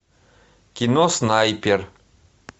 кино снайпер